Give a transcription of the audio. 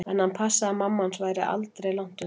En hann passaði að mamma hans væri aldri langt undan.